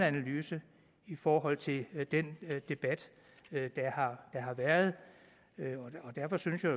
analyse i forhold til den debat der har været og derfor synes jeg